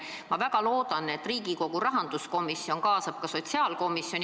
Ma väga loodan, et Riigikogu rahanduskomisjon kaasab arutellu ka sotsiaalkomisjoni.